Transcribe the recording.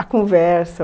A conversa?